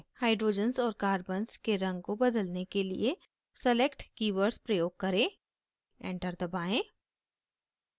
hydrogens और carbons के रंग को बदलने के लिए select keywords प्रयोग करें enter दबाएं